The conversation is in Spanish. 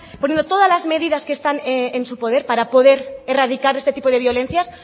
poniendo todas las medidas que están en su poder para poder erradicar este tipo de violencias